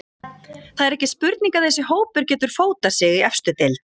Það er ekki spurning að þessi hópur getur fótað sig í efstu deild.